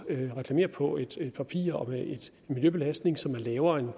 reklamere på et andet papir og med en miljøbelastning som er lavere end